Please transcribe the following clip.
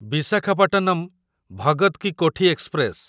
Visakhapatnam Bhagat ki Kothi express